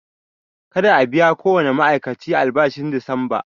Kada a biya kowane ma'aikaci albashin disamba!